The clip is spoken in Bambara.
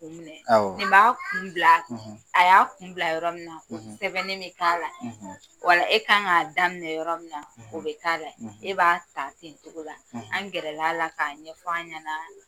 O minɛ; Awɔ; Nin b'a kun bila; , A y'a kun bila yɔrɔ min na; ; Sɛbɛn ne bɛ k' ala; ; Ɔ la e kan k'a daminɛ yɔrɔ min na; ; O bɛ kɛ la ye; ; E b'a taa ten o togo la; ; An gɛrɛla la k'a ɲɛfɔ an ɲɛna;